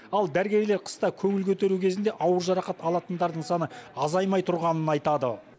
ал дәрігерлер қыста көңіл көтеру кезінде ауыр жарақат алатындардың саны азаймай тұрғанын айтады